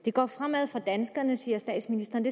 det går fremad for danskerne siger statsministeren